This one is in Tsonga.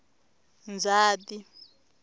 ndzhati